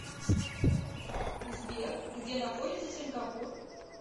сбер где находится сингапур